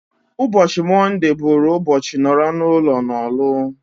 Ụbọchị mondee bụrụ ụbọchị nọrọ n'ụlo n'Orlu